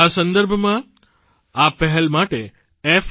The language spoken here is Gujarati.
આ સંદર્ભમાં આ પહેલ માટે f